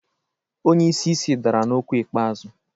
Onye isi isi dara n'okwu ikpeazụ.